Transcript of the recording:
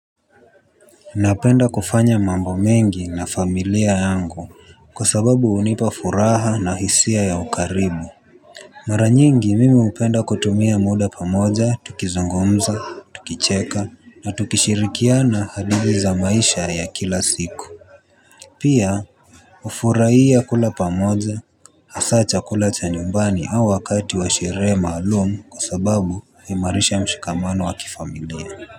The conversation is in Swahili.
Napenda kufanya mambo mengi na familia yangu. Kwa sababu hunipa furaha na hisia ya ukaribu. Mara nyingi mimi hupenda kutumia muda pamoja tukizungumza tukicheka na tukishirikiana hadithi za maisha ya kila siku. Pia hufurahia kula pamoja. Hasa chakula cha nyumbani au wakati wa sherehe maalumu kwa sababu huimarisha mshikamano wa kifamilia.